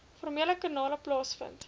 formele kanale plaasvind